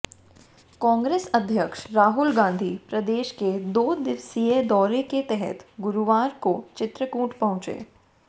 कांग्रेस अध्यक्ष राहुल गांधी प्रदेश के दो दिवसीय दौरे के तहत गुरुवार को चित्रकूट पहुंचे